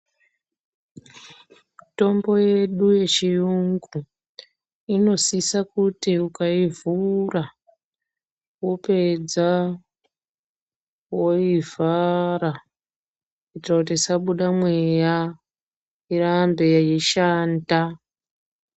Mitombo yedu yechiyungu, inosise kuti ukaivhura ,wopedza woivhara, kuitire kuti isabuda mweya, irambe yeishanda.